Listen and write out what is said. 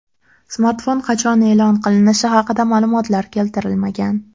Smartfon qachon e’lon qilinishi haqida ma’lumotlar keltirilmagan.